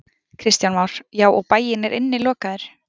Kristján Már: Já, og bærinn er innilokaður?